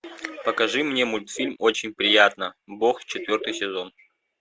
покажи мне мультфильм очень приятно бог четвертый сезон